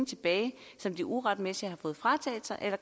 tilbage som de uretmæssigt